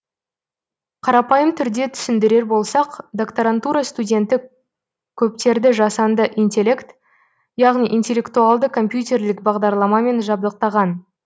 қарапайым түрде түсіндірер болсақ докторантура студенті коптерді жасанды интеллект яғни интеллектуалды компьютерлік бағдарламамен жабдықтаған